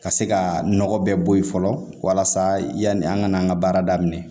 Ka se ka nɔgɔ bɛɛ bɔ yen fɔlɔ walasa yani an ka an ka baara daminɛ